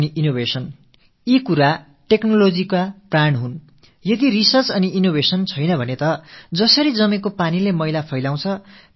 ஆய்வுகளும் புதுமைகளும் படைக்கப்படவில்லை என்றால் தேங்கியிருக்கும் நீரில் எப்படி முடைநாற்றம் வீசத் தொடங்கி விடுமோ அதே போல தொழில்நுட்பமும் நமக்கு ஒரு சுமையாக ஆகி விடும்